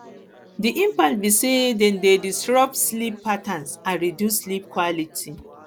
di impact be say dem dey disrupt sleep patterns and reduce sleep quality